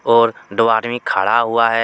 और दो आदमी खड़ा हुआ है।